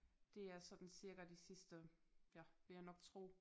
Det er sådan cirka de sidste ja vil jeg nok tro